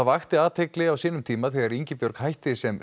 vakti athygli á sínum tíma þegar Ingibjörg hætti sem